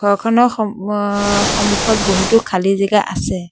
ঘৰখনৰ সম আ সমুখত বহুতো খালি জেগা আছে।